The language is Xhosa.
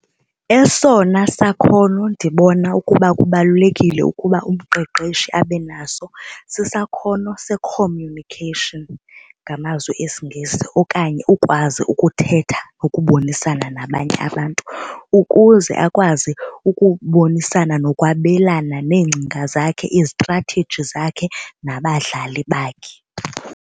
Esona sakhono ndibona ukuba kubalulekile ukuba umqeqeshi abe naso sisakhono se-communication ngamazwi esiNgesi okanye ukwazi ukuthetha nokubonisana nabanye abantu ukuze akwazi ukubonisana nokwabelana neengcinga zakhe iztratheji zakhe nabadlali bakhe.